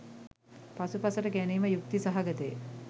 පසුපසට ගැනීම යුක්ති සහගතය.